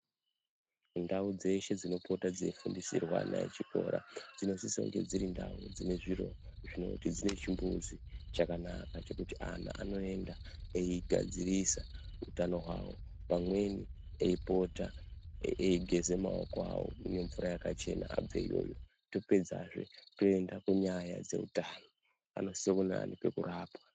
Ndau dzeshe dzinopota dzeifundisirwa ana echikora dzinosisa kunge dziri ndau dzine zviro zvinoti dzine chimbuzi chakanaka chekuti ana anoenda eigadzirisa utano hwavo, pamweni eipota eigeze maoko awo nemvura yakachena above iyoyo tapedzazve toenda kunyanya dzeutano. Anosisa kunge ane pekurapwa.